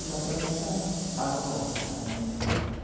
Então, para mim era, estava bom né. Uhum.